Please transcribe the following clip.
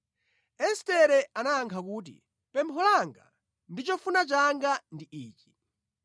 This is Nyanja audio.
Estere anayankha kuti, “Pempho langa ndi chofuna changa ndi ichi: